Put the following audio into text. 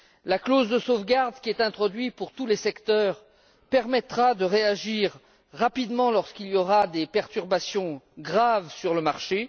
La clause de sauvegarde, qui est introduite pour tous les secteurs, permettra de réagir rapidement lorsqu'il y aura des perturbations graves sur le marché.